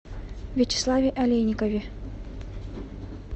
вячеславе олейникове